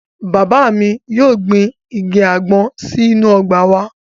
Bàbá mi yóò gbin igi àgbọn sínú ọgbà wa